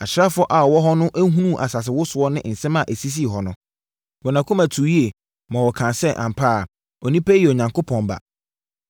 Asraafoɔ a wɔwɔ hɔ no hunuu asase wosoɔ ne nsɛm a ɛsisii hɔ no, wɔn akoma tuu yie, ma wɔkaa sɛ, “Ampa ara, onipa yi yɛ Onyankopɔn Ba.”